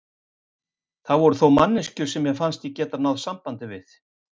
Það voru þó manneskjur sem mér fannst ég geta náð sambandi við.